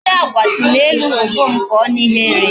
Ndi Agwa si n'elu obom pụọ n'ihe ihere